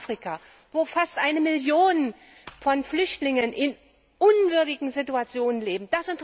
in Afrika, wo fast eine Million Flüchtlinge in unwürdigen Situationen leben.